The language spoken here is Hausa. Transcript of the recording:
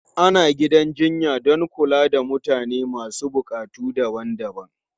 Ana gidan jinya don kula da mutane masu buƙatu daban-daban.